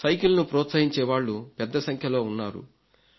సైకిల్ను ప్రోత్సహించేవాళ్లు పెద్ద సంఖ్యలో ఉన్నారు